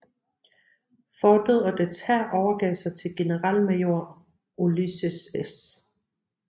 Fortet og dets hær overgav sig til generalmajor Ulysses S